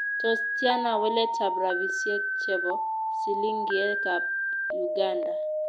Tos' tiana waletab rabisyek che bo silingiekab uganda